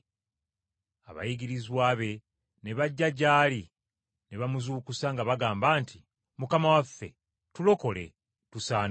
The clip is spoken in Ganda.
Abayigirizwa be ne bajja gy’ali ne bamuzuukusa nga bagamba nti, “Mukama waffe, tulokole, tusaanawo!”